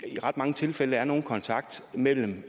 ret mange tilfælde ikke er nogen kontakt mellem